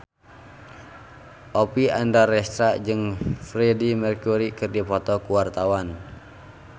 Oppie Andaresta jeung Freedie Mercury keur dipoto ku wartawan